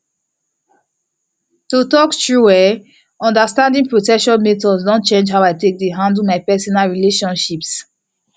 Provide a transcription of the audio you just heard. to talk true eh understanding protection methods don change how i dey take handle my personal relationships